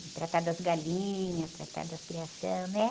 Tratar das galinhas, tratar das criação, né?